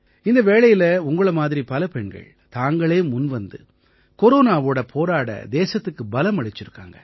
இந்த வேளையில உங்களை மாதிரி பல பெண்கள் தாங்களே முன்வந்து கொரோனாவோட போரிட தேசத்துக்கு பலம் அளிச்சிருக்காங்க